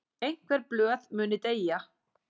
Einhver blöð muni deyja